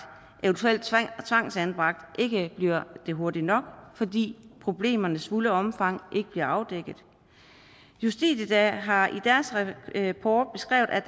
eventuelt tvangsanbragt ikke bliver det hurtigt nok fordi problemernes fulde omfang ikke bliver afdækket justitia har i deres rapport beskrevet at